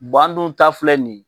an dun ta filɛ nin ye